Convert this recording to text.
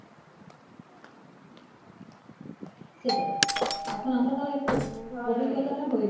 সেটাই এখন আমরা তাও মানে ধর অভিজ্ঞটা হয়েছে